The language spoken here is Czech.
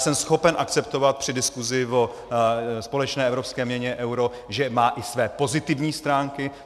Jsem schopen akceptovat při diskusi o společné evropské měně euro, že má i své pozitivní stránky.